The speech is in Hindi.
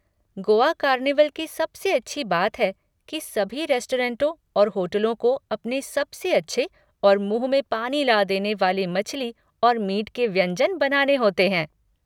गोआ कार्निवल की सबसे अच्छी बात है कि सभी रेस्टोरेंटों और होटलों को अपने सबसे अच्छे और मुँह में पानी ला देने वाले मछली और मीट के व्यंजन बनाने होते हैं।